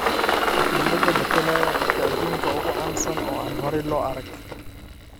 Wakiilada matalaya dadka aduunka ugu caansan oo aan horay loo arag.